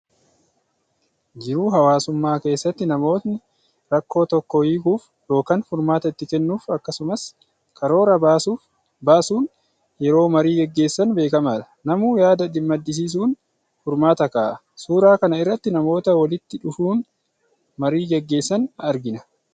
Jiruu hawwaasummaa keessatti namootni rakkoo tokko hiikuuf yookaan furmaata itti kennuuf akkasumas karoora baasuun yeroo marii gaggeessaan beekamaadha. Namuu yaada madisiisuun furmaata kaa'a. Suuraa kana irratti namoota walitti dhufuun marii gaggeessan argina.